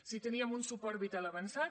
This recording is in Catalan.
si teníem un suport vital avançat